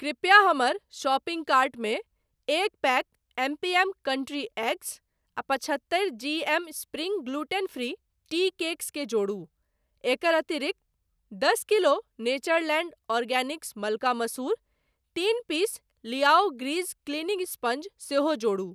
कृपया हमर शॉपिंग कार्टमे एक pack M P M country eggs आ पचहत्तरि G M spring gluten free tea cakes केँ जोड़ू। एकर अतिरिक्त, दश किलो नेचरलैंड ऑर्गेनिक्स मलका मसूर, तीन पीस लियाओ ग्रीज क्लीनिंग स्पंज सेहो जोड़ू।